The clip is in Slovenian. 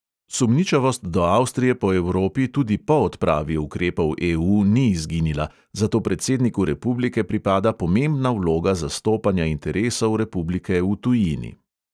Sumničavost do avstrije po evropi tudi po odpravi ukrepov EU ni izginila, zato predsedniku republike pripada pomembna vloga zastopanja interesov republike v tujini.